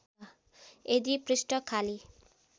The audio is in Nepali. यदि पृष्ठ खाली